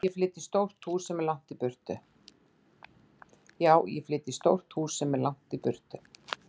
Já, ég flyt í stórt hús sem er langt í burtu.